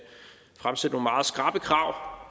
fremsætte nogle meget skrappe krav